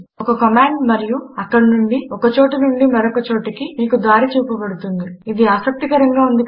ఒక కమాండు మరియు అక్కడి నుండి ఒక చోటి నుండి మరొక చోటికి మీకు దారి చూపబడుతుంది ఇది ఆసక్తికరంగా ఉంది కదా